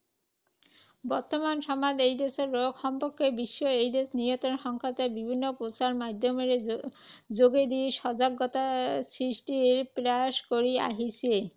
বৰ্তমান সময়ত এইড্‌ছ ৰোগ সম্পৰ্কে বিশ্ব এইড্‌ছ নিয়ন্ত্ৰণ সংস্থাই বিভিন্ন প্ৰচাৰ মাধ্যমেৰে যোগেদি সজাগতা সৃষ্টিৰ প্ৰয়াস কৰি আহিছে।